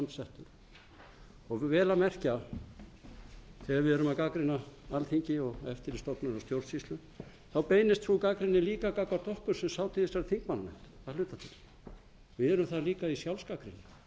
heiðarlega framsettur vel að merkja þegar við erum að gagnrýna alþingi og eftirlitsstofnanir og stjórnsýslu beinist sú gagnrýni líka gagnvart okkur sem sátum í þessari þingmannanefnd að hluta til við erum þar líka i sjálfsgagnrýni